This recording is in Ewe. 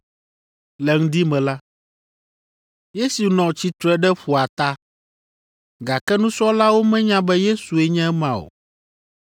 Le ŋdi me la, Yesu nɔ tsitre ɖe ƒua ta, gake nusrɔ̃lawo menya be Yesue nye ema o.